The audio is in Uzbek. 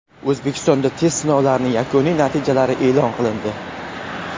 O‘zbekistonda test sinovlarining yakuniy natijalari e’lon qilindi.